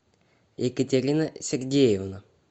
екатерина сергеевна